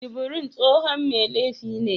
Jubril tsohon mai laifi ne